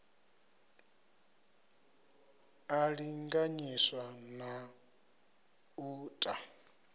a linganyiswa na u ta